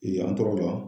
Yen an tɔgɔ la